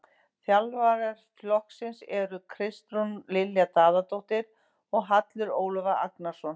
Þjálfara flokksins eru Kristrún Lilja Daðadóttir og Hallur Ólafur Agnarsson.